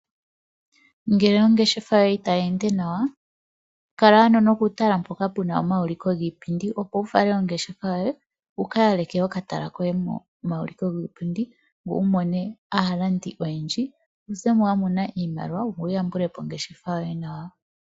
Ngele ongeshefa yoye itayi ende nawa kala ano nokutala mpoka puna omayuliko giipindi opo wufale ongeshefa yoye, wu kayaleke okatala koye momawuliko giipindi ngoye wumone aalandi oyendji, wuzemo wamona iimaliwa ngoye wuyambulepo ongeshefa yoye nawa.